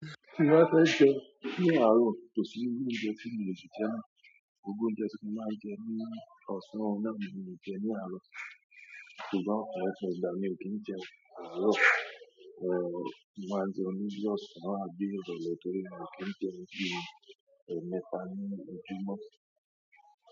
Tí mó ba fẹ́ jẹun ní àárò, kò sí iru oúnjẹ tí mi le sí jẹ náà, gbogbo oúnjẹ tí mo máa ń jẹ ní ọ̀sán, oun na ni mo lè jẹ ní àárọ̀, ṣùgbọ́n ọ̀pọ̀lọpọ̀ ìgbà mi ò kí n jẹun àárọ̀, mo máa jẹun ní ọ̀san àbí iròlè torí mi ò kí ń jẹun bí èmeta níí ojúmọ́.